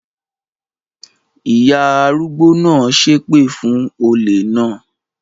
Ìyá arúgbó náà ṣépè fún olè náà?